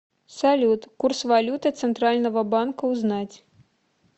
салют курс валюты центрального банка узнать